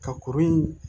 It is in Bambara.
Ka kuru in